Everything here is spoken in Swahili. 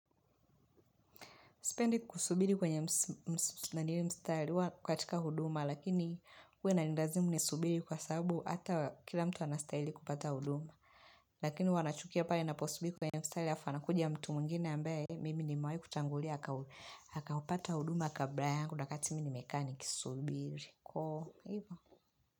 Sipendi kusubiri kwenye mstari katika huduma lakini huwa inanilazimu nisubiri kwa sababu hata kila mtu anastahili kupata huduma. Lakini huwa nachukia pale naposubiri kwenye mstari halafu anakuja mtu mwingine ambaye mimi nimewahi kutangulia. Akaupata huduma kabla yangu wakati mimi nimekaa nikisubiri.